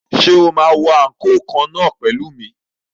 Ṣé o máa wọ àǹkóò kan náà pẹ̀lú mi?